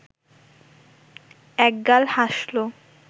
একগাল হাসল